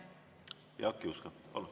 Jaak Juske, palun!